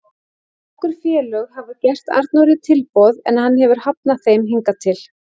Nokkur félög hafa gert Arnóri tilboð en hann hefur hafnað þeim hingað til.